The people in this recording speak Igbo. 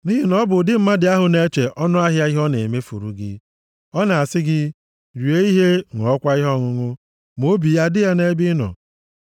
Nʼihi na ọ bụ ụdị mmadụ ahụ na-eche ọnụahịa ihe ọ na-emefuru gị. Ọ na-asị gị, “Rie ihe, ṅụọkwa ihe ọṅụṅụ,” ma obi ya adịghị nʼebe ị nọ.